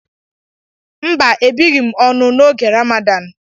Mba, ebighị m ọnụ n'oge Ramadan